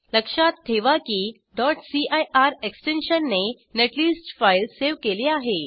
लक्षात ठेवा की cir एक्सटेंशनने नेटलिस्ट फाईल सेव केली आहे